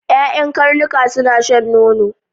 Ƴaƴan karnuka suna shan nono.